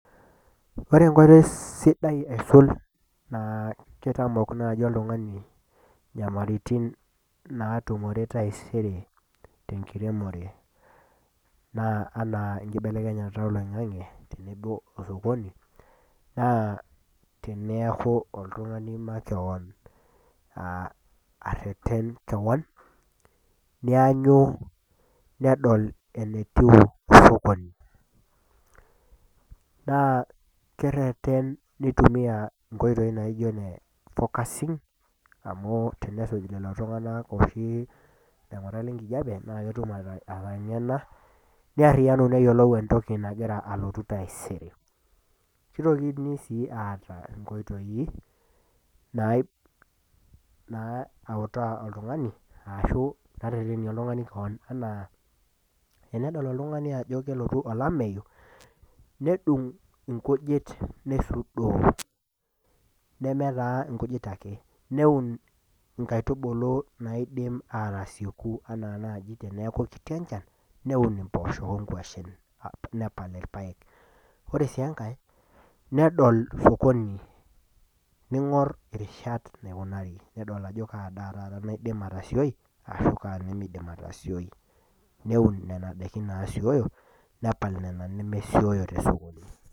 Ore enkoitoi sidai aisul naa keitamok naaji oltung'ani inyamaliritin naatumore taisere tenkiremore, naa anaa enkibelekenyata oloing'ang'e, tenebo o sokoni, naa teneaku oltung'ani makewon, areten kewon, neanyu nedol enetiu sokoni. Naa kereten neitumiya inkoitoi naijo ine focusing amu tenesuj lelo tung''ana oshi laing'urak le enkijape naa ketum ateng'ena, neariyanu neyiolou entoki naji elotu taisere. Keitokini sii aatau inkoitoi nautaa oltung'ani ashu naaretenie oltung'ani kewon, anaa tenedol oltung'ani ajo kelotu olameyu, nedung' inkujit neisudoo, nemee taa inkujit ake, neun inkaitubulu naidim aatasieku anaa naaji teneaku kiti enchan, neun impoosho o inkwashen nepal ilpaek, ore sii enkai nedol sokoni, neing'or irishat eneikunaari, nedol ajo kaa daa taata naidim atsioi o kaa nemeidim aatasioi. Neun nen daikin naasioio nepal nena nemesioyyo te sokoni.